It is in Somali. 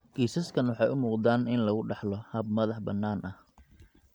Kiisaskani waxay u muuqdaan in lagu dhaxlo hab madax-bannaani ah.